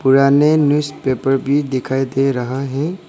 पुराने न्यूज़पेपर भी दिखाई दे रहा है।